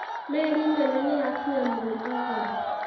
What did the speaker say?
Meri nene nĩyakinya Mombasa.